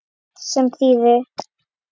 Sem þýðir